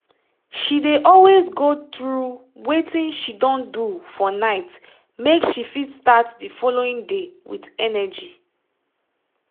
she dey always go through wetin she don do for nightmake she fit start the following day with energy